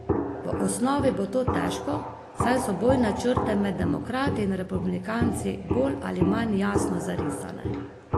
V osnovi bo to težko, saj so bojne črte med demokrati in republikanci bolj ali manj jasno zarisane.